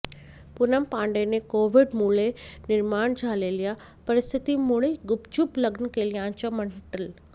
पूनम पांडेने कोव्डिड मुळे निर्माण झालेल्या परिस्थिती मुळे गुपचूप लग्न केल्याचं म्हटलं